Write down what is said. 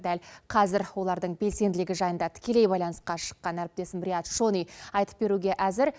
дәл қазір олардың белсенділігі жайында тікелей байланысқа шыққан әріптесім рияд шони айтып беруге әзір